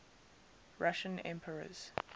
russian emperors